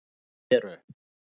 Þá eru